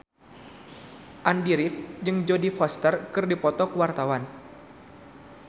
Andy rif jeung Jodie Foster keur dipoto ku wartawan